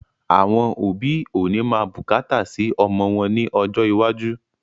Àwọn òbí ó ní máa bùkátà sì ọmọ wọn ní ọjọ́ iwájú